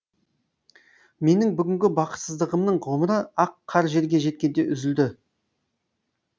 менің бүгінгі бақытсыздығымның ғұмыры ақ қар жерге жеткенде үзілді